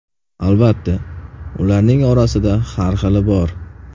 Albatta, ularning orasida har xili bor.